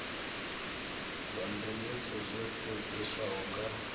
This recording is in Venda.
zwa ndemesa zwo sedzeswaho nga